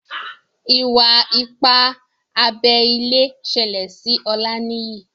Iwa-ipa abé ilé ṣẹlẹ sí Olaniyi